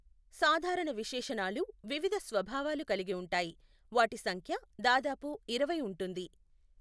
సాధారణ విశేషణాలు వివిధ స్వభావాలు కలిగి ఉంటాయి, వాటి సంఖ్య దాదాపు ఇరవై ఉంటుంది.